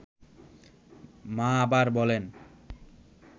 মা আবার বলেন